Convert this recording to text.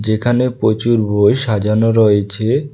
যেখানে পচুর বই সাজানো রয়েছে।